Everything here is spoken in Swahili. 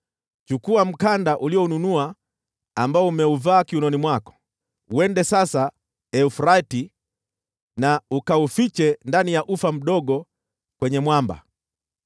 “Chukua mkanda ulionunua ambao umeuvaa kiunoni mwako, uende sasa Frati uufiche ndani ya ufa mdogo kwenye mwamba.”